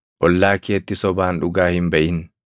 Ollaa keetti sobaan dhugaa hin baʼin.